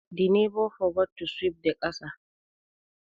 The neighbour forget to sweep the kasa